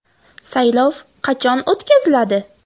Saylov qachon o‘tkaziladi?